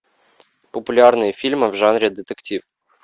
популярные фильмы в жанре детектив